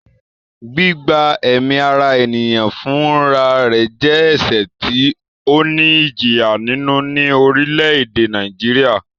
Gbígba ẹ̀mí ara ènìyàn fún ra re jẹ́ ẹ̀sẹ̀ tí ó ní ìjìyà nínú ní orílẹ̀-èdè Nàìjíríà